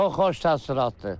Çox xoş təəssüratdır.